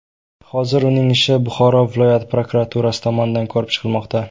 Hozir uning ishi Buxoro viloyat prokuraturasi tomonidan ko‘rib chiqilmoqda.